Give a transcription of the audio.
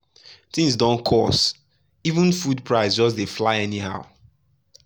things don cost — even food price just dey fly high anyhow.